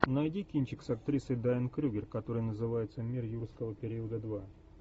найди кинчик с актрисой дайан крюгер который называется мир юрского периода два